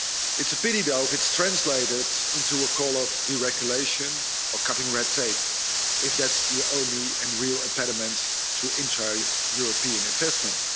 It's a pity though if it's translated into a call for deregulation or cutting red tape, as if that's the only and real impediment to intra European investments.